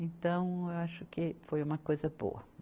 Então, eu acho que foi uma coisa boa.